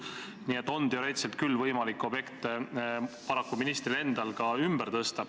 Nii et teoreetiliselt on küll ministril endal võimalik objekte paraku ka ümber tõsta.